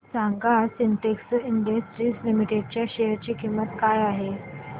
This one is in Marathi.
सांगा आज सिन्टेक्स इंडस्ट्रीज लिमिटेड च्या शेअर ची किंमत काय आहे